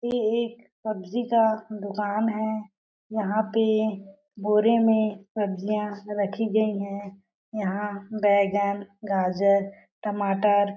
ये एक सब्जी का दुकान है। यहाँ पे बोरे में सब्जियां रखी गयी है। यहाँ बैंगन गाजर टमाटर--